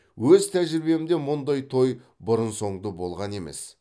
өз тәжірибемде мұндай той бұрын соңды болған емес